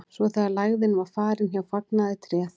svo þegar lægðin var farin hjá fagnaði tréð